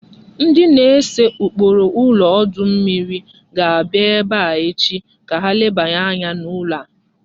Ndị na-ese ụkpụrụ ụlọ ọdụ ụgbọ mmiri ga-abịa ebe a echi ka ha lebanye anya n'ụlọ a